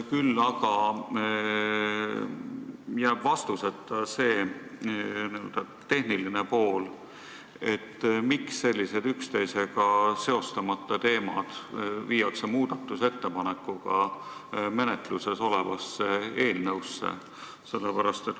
Küll aga jääb vastuseta see n-ö tehniline pool, miks sellised üksteisega seostamata teemad viiakse muudatusettepanekuga menetluses olevasse eelnõusse.